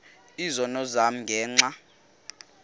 izono zam ngenxa